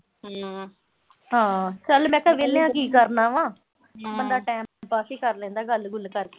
ਹਾਂਂ, ਚਲ ਮੈਂ ਕਿਆ ਵਿਹਲੇ ਆਂ ਕੀ ਕਰਨਾ ਵਾ। ਬੰਦਾ ਟਾਈਮ ਪਾਸ ਈ ਕਰ ਲੈਂਦਾ ਗੱਲ-ਗੁੱਲ ਕਰਕੇ।